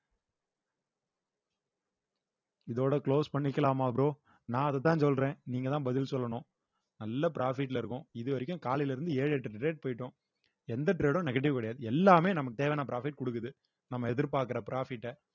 இதோட close பண்ணிக்கலாமா bro நான் அதத்தான் சொல்றேன் நீங்கதான் பதில் சொல்லணும் நல்ல profit ல இருக்கும் இதுவரைக்கும் காலையில இருந்து ஏழு எட்டு trade போயிட்டோம் எந்த trade உம் negative கிடையாது எல்லாமே நமக்கு தேவையான profit குடுக்குது நம்ம எதிர்பார்க்கிற profit அ